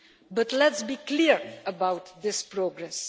But let us be clear about this progress.